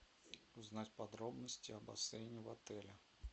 узнать подробности о бассейне в отеле